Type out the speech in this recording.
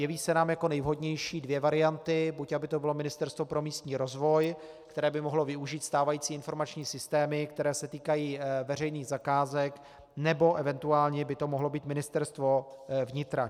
Jeví se nám jako nejvhodnější dvě varianty: buď aby to bylo Ministerstvo pro místní rozvoj, které by mohlo využít stávající informační systémy, které se týkají veřejných zakázek, nebo eventuálně by to mohlo být Ministerstvo vnitra.